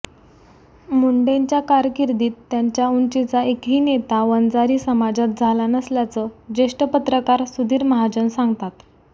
मुंडेंच्या कारकिर्दीत त्यांच्या उंचीचा एकही नेता वंजारी समाजात झाला नसल्याचं ज्येष्ठ पत्रकार सुधीर महाजन सांगतात